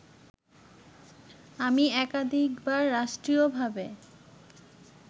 আমি একাধিকবার রাষ্ট্রীয়ভাবে